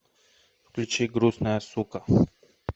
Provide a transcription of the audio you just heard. включи грустная сука